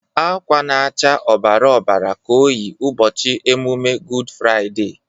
Akwa na-acha ọbara ọbara ka o yi ụbọchị emume Gud Fraiday.